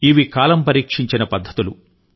ఇవి కాలం పరీక్షించిన పద్ధతులు